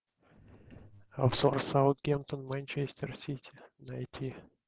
обзор саутгемптон манчестер сити найти